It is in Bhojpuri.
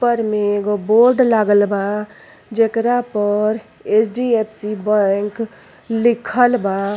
ऊपर में एगो बोर्ड लागल बा जेकरा पर एच.डी.एफ.सी. बैंक लिखल बा।